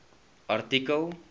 artikel